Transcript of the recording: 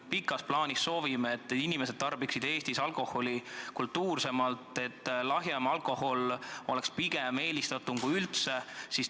Pikas plaanis me soovime, et inimesed tarbiksid Eestis alkoholi kultuursemalt, et kui üldse juuakse, siis lahjemat alkoholi.